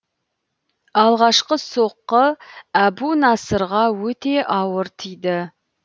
алғашқы соққы әбунасырға өте ауыр тиді